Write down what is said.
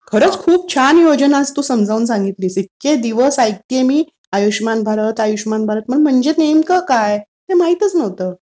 खरंच खूप छान योजना तू आज समजावून सांगितलीस. इतके दिवस ऐकतीये मी, आयुष्यमान भारत आयुष्यमान भारत, पण म्हणजे नेमकं काय? ते माहीतच नव्हतं